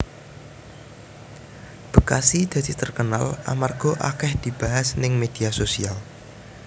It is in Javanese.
Bekasi dadi terkenal amarga akeh dibahas ning media sosial